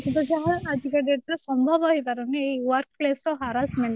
କିନ୍ତୁ ଯାହା ଆଜିକା date ରେ ସମ୍ଭବ ହେଇପାରୁନି ଏଇ work place ର harassment